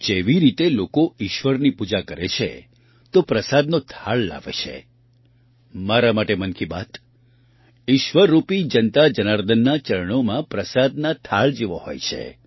જેવી રીતે લોકો ઈશ્વરની પૂજા કરે છે તો પ્રસાદનો થાળ લાવે છે મારા માટે મન કી બાત ઈશ્વર રૂપી જનતા જનાર્દનનાં ચરણોમાં પ્રસાદના થાળ જેવો હોય છે